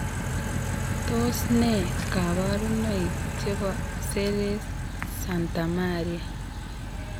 Tos nee kabarunaik chebo Seres Santamaria